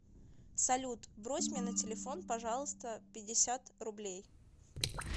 салют брось мне на телефон пожалуйста пятьдесят рублей